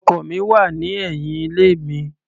Ọkọ̀ mi wà ní ẹ̀yìn ilé mi.